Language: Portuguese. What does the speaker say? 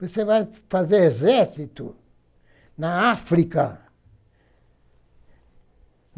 Você vai fazer exército na África.